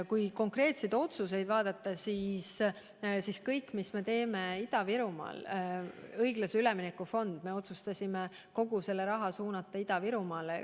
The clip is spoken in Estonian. Kui vaadata konkreetseid otsuseid, mida me Ida-Virumaaga seoses oleme teinud, siis on näha, et oleme kogu õiglase ülemineku fondi raha otsustanud suunata Ida-Virumaale.